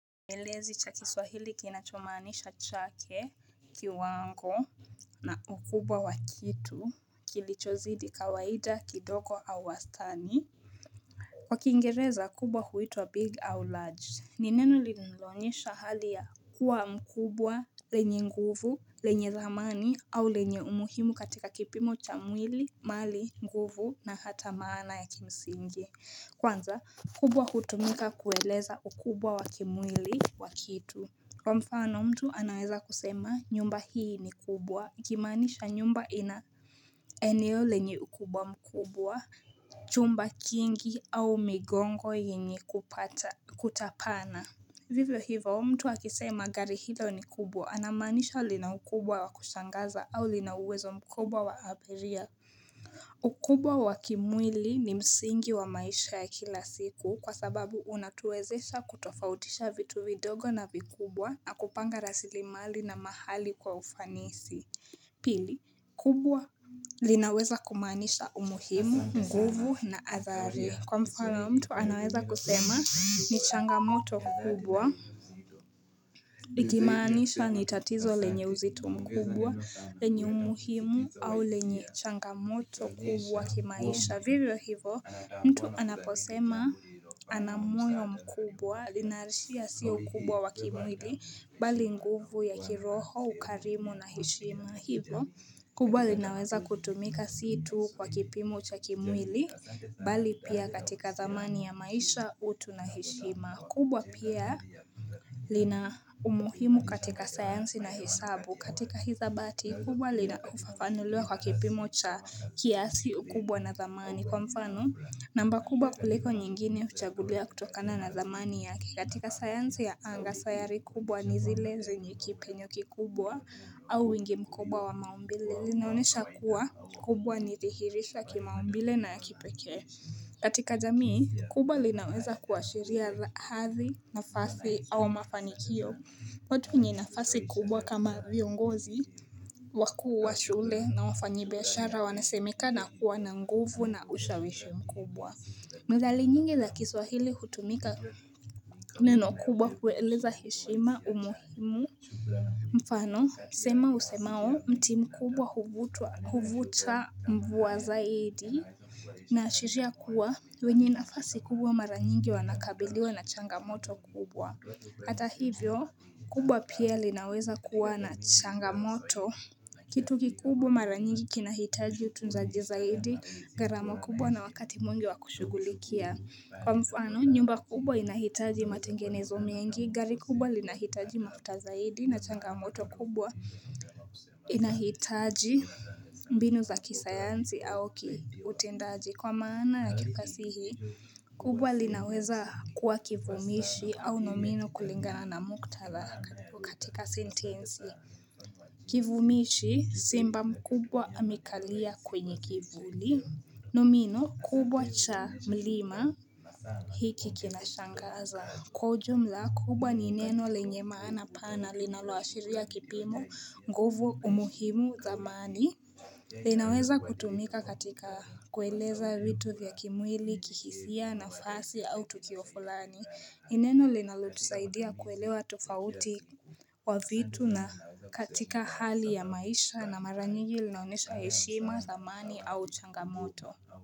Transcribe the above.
Kielezi cha kiswahili kinachomanisha chake kiwango na ukubwa wa kitu kilichozidi kawaida, kidogo au wastani Kwa kiingereza kubwa kuitwa Big au Large ni neno linalonyesha hali ya kuwa mkubwa, lenye nguvu, lenye dhamani au lenye umuhimu katika kipimo cha mwili, mali, nguvu na hata maana ya kimsingi Kwanza, kubwa hutumika kueleza ukubwa wa kimwili wa kitu kwa mfano mtu anaweza kusema nyumba hii ni kubwa, ikimaanisha nyumba ina eneo lenye ukubwa mkubwa Chumba kingi au migongo yenye kupata kutapana Vivyo hivyo mtu akisema gari hilo ni kubwa anamaanisha lina ukubwa wa kushangaza au lina uwezo mkubwa wa abiria ukubwa wa kimwili ni msingi wa maisha ya kila siku kwa sababu unatuwezesha kutofautisha vitu vidogo na vikubwa na kupanga rasilimali na mahali kwa ufanisi Pili kubwa linaweza kumaanisha umuhimu, nguvu na athari Kwa mfano mtu anaweza kusema ni changamoto kubwa Ikimaanisha ni tatizo lenye uzito mkubwa, lenye umuhimu au lenye changamoto kubwa kimaisha Vivyo hivo mtu anaposema ana moyo mkubwa Linaashiria sio kubwa wa kimwili bali nguvu ya kiroho, ukarimu na heshimu hivo kubwa linaweza kutumika si tu kwa kipimo cha kimwili, bali pia katika dhamani ya maisha, utu na heshima. Kubwa pia lina umuhimu katika sayansi na hesabu katika hizabati. Kubwa linafafanuliwa kwa kipimo cha kiasi ukubwa na thamani. Kwa mfano, namba kubwa kuliko nyingine huchagulia kutokana na thamani yake katika sayansi ya anga sayari kubwa ni zile zenye kipenyo kikubwa au wingi mkubwa wa maumbile linaonyesha kuwa kubwa ni thihirisha kimaumbile na ya kipekee katika jamii, kubwa linaweza kuashiria hadhi nafasi au mafanikio watu nwenye nafasi kubwa kama viongozi wakuu wa shule na wafanyibiashara wanasemekana kuwa na nguvu na ushawishi mkubwa. Methali nyingi za kiswahili hutumika neno kubwa kueleza heshima umuhimu mfano. Msemo usemao mti mkubwa huvuta mvua zaidi naashiria kuwa wenye nafasi kubwa mara nyingi wanakabiliwa na changamoto kubwa. Hata hivyo, kubwa pia linaweza kuwa na changamoto, kitu kikubwa mara nyingi kinahitaji utunzaji zaidi, gharama kubwa na wakati mwingi wa kushugulikia. Kwa mfano, nyumba kubwa inahitaji matengenezo mengi, gari kubwa linahitaji mafuta zaidi na changamoto kubwa inahitaji mbinu za kisayanzi au kiutendaji. Kwa maana ya kifasihi, kubwa linaweza kuwa kivumishi au nomino kulingana na muktadha katika sentensi Kivumishi simba mkubwa amekalia kwenye kivuli Nomino kubwa cha mlima hiki kinashangaza kwa ujumla, kubwa ni neno lenye maana pana linaloashiria kipimo nguvu umuhimu thamani linaweza kutumika katika kueleza vitu vya kimwili, kihisia nafasi au tukio fulani, ni neno linalotusaidia kuelewa tofauti. Kwa vitu na katika hali ya maisha na mara nyingi linaonesha heshima, thamani au changamoto.